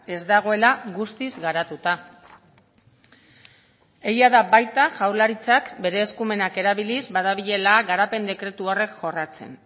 ez dagoela guztiz garatuta egia da baita jaurlaritzak bere eskumenak erabiliz badabilela garapen dekretu horiek jorratzen